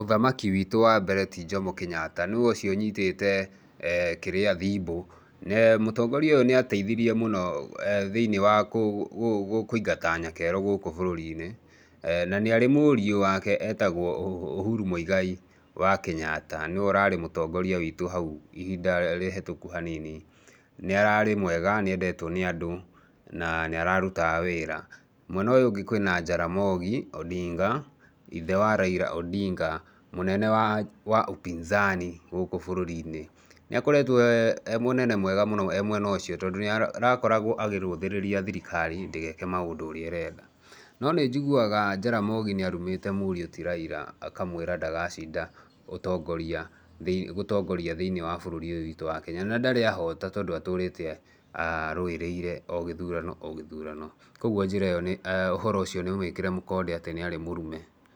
Mũthamaki witũ wa mbere ti Njomo Kenyatta, nĩwe ũcio ũnyitĩte kĩrĩa- thimbũ. Mũtongoria ũyũ nĩ ateithirie mũno thĩiniĩ wa kũigata nyakerũ gũku bũrũri-nĩ, na nĩ arĩ mũriũ wake etagwo Ũhuru mũigai wa Kenyatta, nĩwe ũrarĩ mũtongoria witũ hau ihinda rĩhetũku haniani. Nĩ araĩ mwega ,nĩ endetwo nĩ andũ na nĩ ararutaga wĩra. Mwena ũyũ ũngĩ kwĩna Njaramogi Ondinga, ithe wa Raila Ondinga, mũnene wa upinzani gũkũ bũrũrinĩ. Nĩ akoretwo e mũnene mwega e mwena ũcio tondũ nĩarakoragwo akĩrũthĩrĩria thirikari ndĩgeke maũndũ ũrĩa . No nĩ njĩguaga Njaramogi nĩarumĩte muriũ ti Raila akamwĩra ndagacinda gũtongoria bũrũri ũyũ wĩtu wa Kenya na ndarĩ ahota tondũ atũrĩte arũĩrĩire ogĩthurano ogĩthurano, kwoguo ũhoro ũcio nĩ mwĩkĩre mũkonde atĩ nĩ arĩ mũrume.